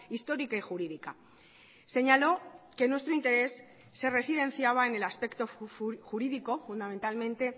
histórica y jurídica señalo que en nuestro interés se residenciaba en el aspecto jurídico fundamentalmente